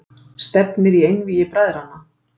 Stefnir í einvígi bræðranna